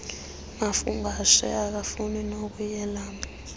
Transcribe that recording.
mafungwashe akafuni nokuyelam